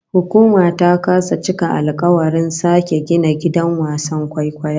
Hukuma ta kasa cika alkawarin sake gina gidan kallon wasan kwaikwayon